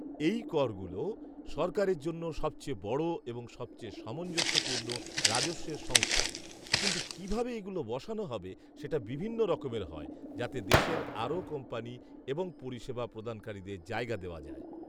এই করগুলো সরকারের জন্য সবচেয়ে বড় এবং সবচেয়ে সামঞ্জস্যপূর্ণ রাজস্বের সংস্থান কিন্তু কীভাবে এগুলো বসানো হবে সেটা বিভিন্ন রকমের হয় যাতে দেশের আরও কোম্পানি এবং পরিষেবা প্রদানকারীদের জায়গা দেওয়া যায়।